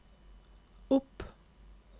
opp